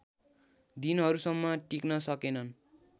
दिनहरूसम्म टिक्न सकेनन्